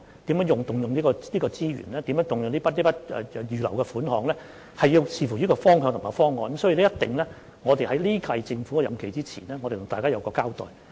如何動用這些資源、如何動用這筆預留的款項，須視乎方向和方案，因此，我們在本屆政府任期完結前會向大家交代。